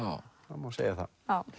það má segja það